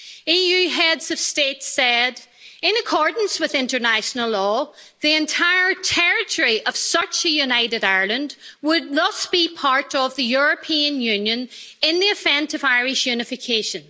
EU heads of state said, in accordance with international law, the entire territory of such a united Ireland would not be part of the European Union in the event of Irish unification.